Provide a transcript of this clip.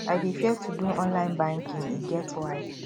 i dey fear to do online banking e get why